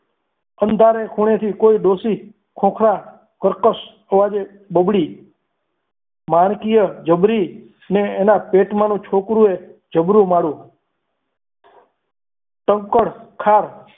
અંધારે ખૂણેથી કોઈ ડોશી ખોખરા કરકસ અવાજે બબડી મારકીય જબરી અને એના પેટમાં છોકરીઓ જબરું મારુ કંકળખાર